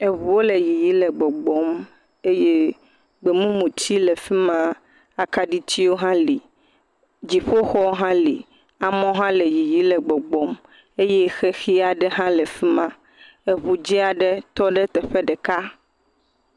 Eŋuwo le yiyi le gbɔgbɔm eye gbemumu tsi le fi ma. Akaɖi tsiwo hã li. Dziƒoxɔ hã li. Amewo hã le yiyim le gbɔgbɔm eye xexi aɖɛe hã le afi ma. Eŋu dzi aɖe tɔ ɖe teƒe ɖeka.